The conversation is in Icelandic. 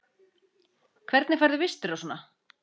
Hvernig færðu vistir og svona?